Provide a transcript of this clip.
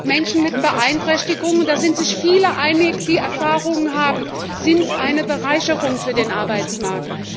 Menschen mit Beeinträchtigungen da sind sich viele einig, die Erfahrung haben sind eine Bereicherung für den Arbeitsmarkt.